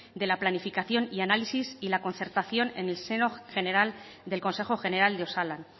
de la planificación y análisis y la concertación en el seno general del consejo general de osalan